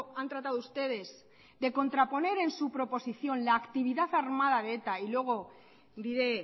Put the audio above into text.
han tratado ustedes de contraponer en su proposición la actividad armada de eta y luego diré